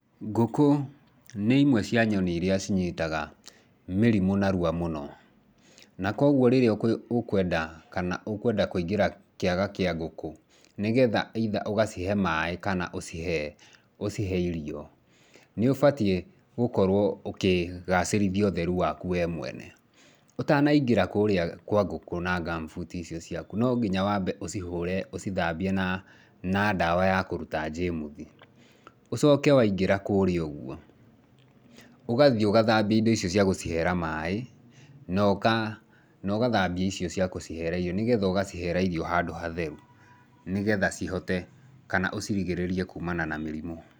Ngũkũ nĩ imwe cia nyoni iria cinyitaga mĩrimũ narua mũno, na kwoguo rĩrĩa ũkwenda kana ũkwenda kũingĩra kĩaga kĩa ngũkũ, nĩgetha either ũgacihe maaĩ kana ũcihe ũcihe irio, nĩ ũbatiĩ gũkorwo ũkĩgacĩrithia ũtheru waku we mwene. Ũtanaingĩra kũrĩa kwa ngũkũ na gumboot icio ciaku, no nginya ũcihũre, ũcithambie na ndawa ya kũruta germs. Ũcoke waingĩra kũrĩa ũguo, ũgathiĩ ũgathambia indo icio cia gũciheera maaĩ na ũgathambia icio cia kũciheera irio nĩgetha ũgaciheera irio handũ hatheru, nĩgetha cihote kana ũcirigĩrĩrie kuumana na mĩrimũ.